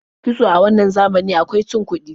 Kitso a wannan zamanin akwai cin kuɗi.